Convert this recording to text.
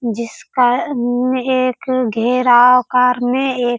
जिसका उम्म एक घेराव करने एक --